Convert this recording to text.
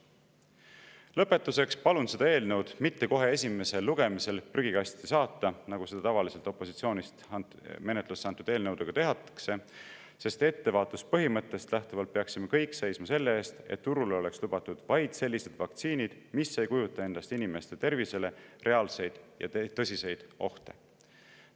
Lõpetuseks palun seda eelnõu mitte kohe esimesel lugemisel prügikasti saata, nagu seda tavaliselt opositsioonist menetlusse antud eelnõudega tehakse, sest ettevaatuspõhimõttest lähtuvalt peaksime kõik seisma selle eest, et turul oleks lubatud vaid sellised vaktsiinid, mis ei kujuta endast inimeste tervisele reaalseid ja tõsiseid ohte.